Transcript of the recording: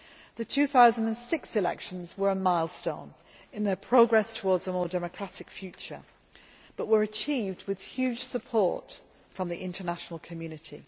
The 2006 elections were a milestone in their progress towards a more democratic future, but were achieved with huge support from the international community.